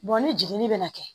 ni jiginni bɛna kɛ